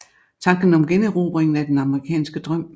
Tanker om generobringen af den amerikanske drøm